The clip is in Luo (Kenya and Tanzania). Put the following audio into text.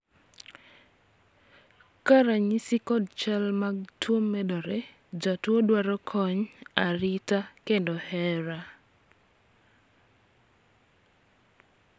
ka ranyisi kod chal mag tuo medore ,jotuo dwaro kony ,arita kendo hera